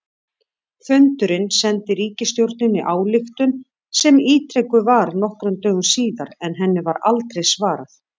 Fundurinn sendi ríkisstjórninni ályktun sem ítrekuð var nokkrum dögum síðar, en henni var aldrei svarað.